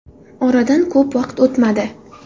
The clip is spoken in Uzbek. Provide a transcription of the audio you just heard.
Oradan ko‘p vaqt o‘tmadi.